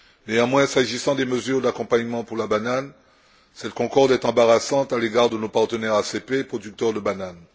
Néanmoins, s'agissant des mesures d'accompagnement pour la banane, cette concorde est embarrassante à l'égard de nos partenaires ACP producteurs de bananes.